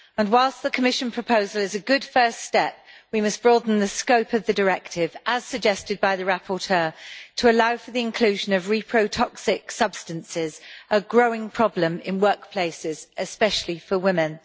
Whilst the Commission proposal is a good first step, we must broaden the scope of the directive, as suggested by the rapporteur, to allow for the inclusion reprotoxic substances, a growing problem in workplaces especially for women.